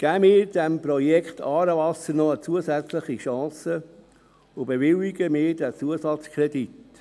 Geben wir dem Projekt ‹Aarewasser› noch eine zusätzliche Chance und bewilligen wir diesen Zusatzkredit.